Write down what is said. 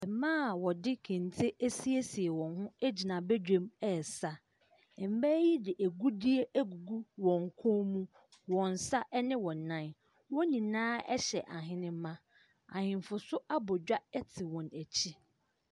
Mmaa a wɔde kente asiesie wɔn gyina badwam ɛresa. Mmaa yi de agudie agugu wɔn kɔn mu, wɔn nsa ne wɔn nan. Wɔn nyinaa hyɛ ahenemaa. Ahemfo nso abɔ dwa te wɔn akyi.